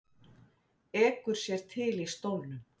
Ekur sér til í stólnum.